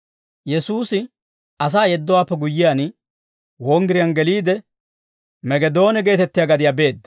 Yesuusi asaa yeddowaappe guyyiyaan, wonggiriyaan geliide, Megedoone geetettiyaa gadiyaa beedda.